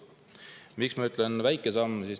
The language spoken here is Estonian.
Miks ma ütlen väike samm?